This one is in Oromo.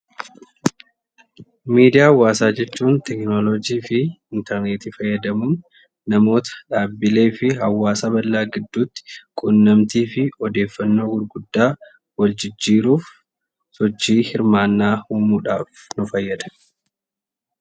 Miidiyaa hawaasaa jechuun teekinoloojjiifi interneetii fayyadamuun namoota dhaabbileefi hawaasa bal'aa gidduutti quunnamtiifi odeeffannoo gurguddaa wal jijjiiruuf sochii hirmaannaa uumuudhaaf nu fayyada.